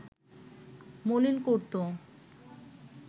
মলিন করত